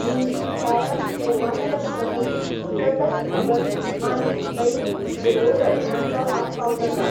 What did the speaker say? हिंदी दिसाळ्यांत पूर्वांचल प्रहरी, प्रतह खबर आनी दैनिक पूर्वोदय हांचो आस्पाव जाता.